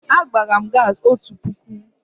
Agbara m gaasị otu puku.